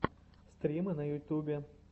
стримы на ютубе